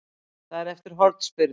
Það er eftir hornspyrnu.